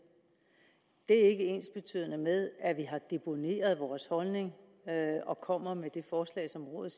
det er ikke ensbetydende med at vi har deponeret vores holdning og kommer med det forslag som rådet